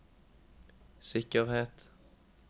sikkerhet